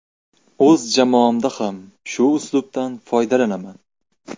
O‘z jamoamda ham shu uslubdan foydalanaman.